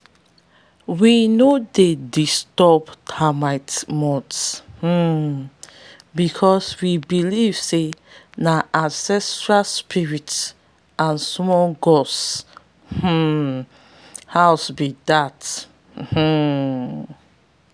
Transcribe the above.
we no dey disturb termite mounds um because we believe say na ancestral spirits and small gods um house be dat. um